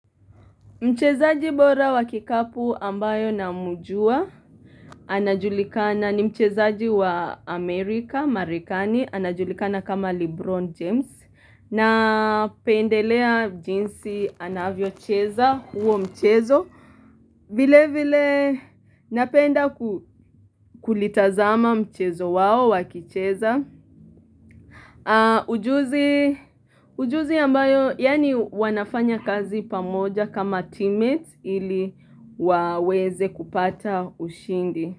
Mchezaji bora wa kikapu ambaye na mjua, anajulikana ni mchezaji wa Amerika, Marekani, anajulikana kama Lebron James. Na pendelea jinsi anavyocheza huo mchezo. Vile vile napenda kulitazama mchezo wao wakicheza. Ujuzi ambayo yaani wanafanya kazi pamoja kama teammates ili waweze kupata ushindi.